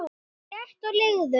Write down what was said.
létt og liðug